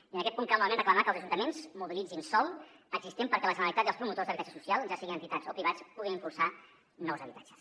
i en aquest punt cal novament reclamar que els ajuntaments mobilitzin sòl existent perquè la generalitat i els promotors d’habitatge social ja siguin entitats o privats puguin impulsar nous habitatges